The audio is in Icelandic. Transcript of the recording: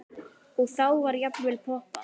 Og þá var jafnvel poppað.